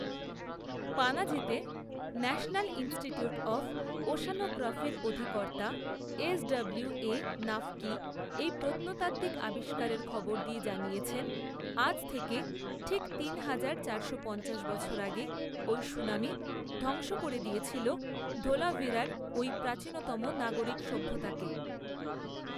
পানাজিতে ‘national institute of ওশ্যানোগ্রাফি’র অধিকর্তা S W A Naqvi এই প্রত্নতাত্ত্বিক আবিষ্কারের খবর দিয়ে জানিয়েছেন, ‘‘আজ থেকে ঠিক তিন হাজার চারশো পঞ্চাশ বছর আগে ওই সুনামি ধ্বংস করে দিয়েছিল ধোলাভিরার ওই প্রাচীনতম নাগরিক সভ্যতাকে